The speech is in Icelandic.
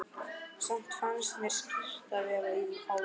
Samt fannst mér skrýtið að vera á Vogi.